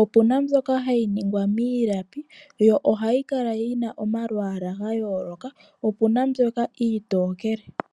Opuna mbyoka hayi ningwa miilapi yo ohayi kala yi na omalwaala ga yooloka po opuna mbyoka iitokele.